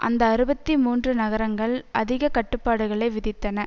அந்த அறுபத்தி மூன்று நகரங்கள் அதிக கட்டுப்பாடுகளை விதித்தன